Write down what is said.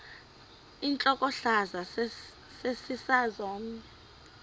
intlokohlaza sesisaz omny